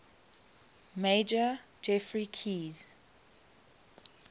major geoffrey keyes